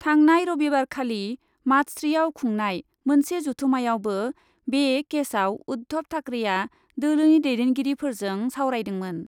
थांनाय रबिबारखालि मातश्रीआव खुंनाय मोनसे जथुम्मायावबो बे केसआव उद्धब ठाकरेआ दोलोनि दैदेनगिरिफोरजों सावरायदोंमोन ।